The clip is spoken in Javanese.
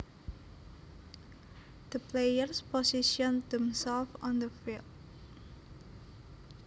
The players positioned themselves on the field